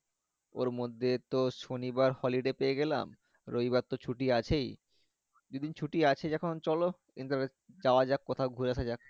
ওর মধ্যে তো শনিবার holiday পেয়ে গেলাম রবি বার তো ছুটি আছেই দুই দিন ছুটি আছে যখন চলো যাওয়া যাক কোথাও ঘুরে আসা যাক